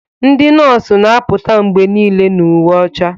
dị nọọsụ na-apụta mgbe niile na uwe ọcha